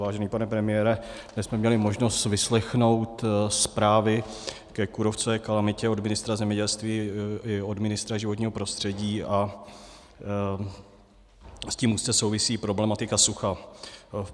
Vážený pane premiére, dnes jsme měli možnost vyslechnout zprávy ke kůrovcové kalamitě od ministra zemědělství i od ministra životního prostředí a s tím úzce souvisí problematika sucha.